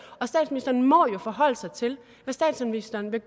og statsministeren må jo forholde sig til hvad statsministeren vil